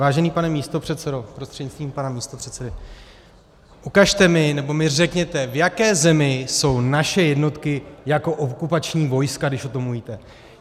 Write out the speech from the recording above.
Vážený pane místopředsedo prostřednictvím pana místopředsedy, ukažte mi, nebo mi řekněte, v jaké zemi jsou naše jednotky jako okupační vojska, když o tom mluvíte.